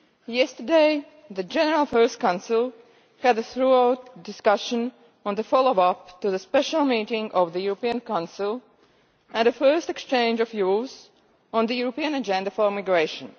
Yesterday, the General Affairs Council held a thorough discussion on the follow up to the special meeting of the European Council, and a first exchange of views on the European Agenda for Migration.